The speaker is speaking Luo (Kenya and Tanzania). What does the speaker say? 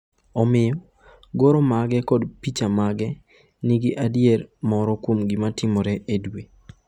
Omiyo, goro mage kod piche mage nigi adier moro kuom gima timore e dwe.